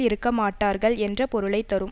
இருக்க மாட்டார்கள் என்ற பொருளை தரும்